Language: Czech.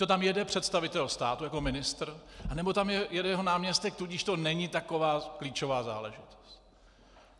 Buďto tam jede představitel státu jako ministr, anebo tam jede jeho náměstek, tudíž to není taková klíčová záležitost.